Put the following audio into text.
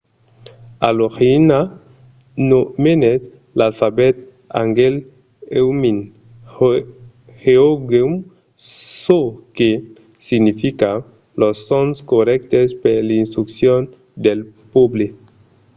a l'origina nomenèt l’alfabet hangeul hunmin jeongeum çò que significa los sons corrèctes per l’instruccion del pòble